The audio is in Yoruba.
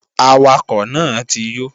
Awakọ̀ náà ti yó